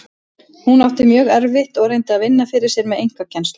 Hún átti mjög erfitt og reyndi að vinna fyrir sér með einkakennslu.